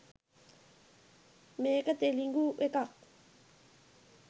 මේක තෙළිඟුඑකක්.